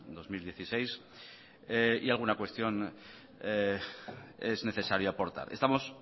dos mil dieciséis y alguna cuestión es necesaria aportar estamos